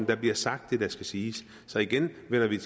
der bliver sagt det der skal siges så igen vender vi